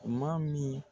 Maa min